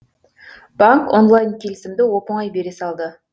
банк онлайн келісімді оп оңай бере салды